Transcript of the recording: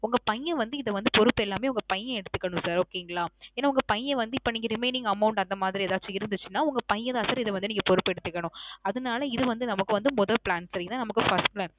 உங்க பய்யன் வந்து இத வந்து பொறுப்பு எல்லாமே உங்க பய்யன் எடுத்துக்கனும் sir. okay ங்களா. ஏன்னா உங்க பய்யன் வந்து இப்ப நீங்க remaining amount அந்த மாதிரி ஏதாச்சும் இருந்துச்சுன்னா உங்க பய்யன் தான் sir இத வந்து நீங்க பொறுப்பை எடுத்துக்கணும். அதனால இது வந்து நமக்கு வந்து மொதோ plan சரிங்களா. இதான் நமக்கு first plan.